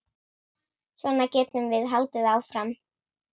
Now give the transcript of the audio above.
Svona getum við haldið áfram.